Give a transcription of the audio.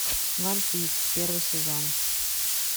ван пис первый сезон